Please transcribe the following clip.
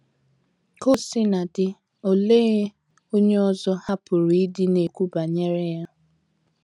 Ka o sina dị, olee onye onye ọzọ ha pụrụ ịdị na-ekwu banyere ya?